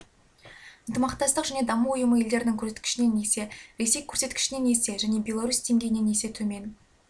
ынтымақтастық және даму ұйымы елдерінің көрсеткішінен есе ресей көрсеткішінен есе және беларусь деңгейінен есе төмен